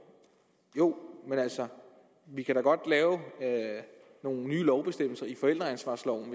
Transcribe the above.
jo men altså vi kan da godt lave nogle nye lovbestemmelser i forældreansvarsloven